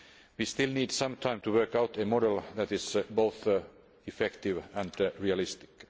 We still need some time to work out a model which is both effective and realistic.